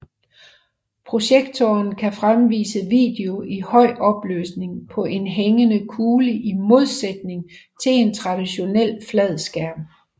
Projektoren kan fremvise video i høj opløsning på en hængende kugle i modsætning til en traditionel flad skærm